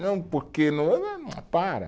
Não, porque. Para!